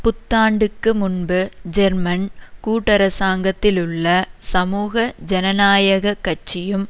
புத்தாண்டுக்கு முன்பு ஜெர்மன் கூட்டரசாங்கத்திலுள்ள சமூக ஜனநாயக கட்சியும்